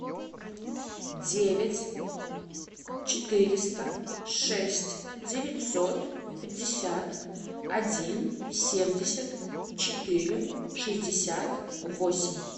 девять четыреста шесть девятьсот пятьдесят один семьдесят четыре шестьдесят восемь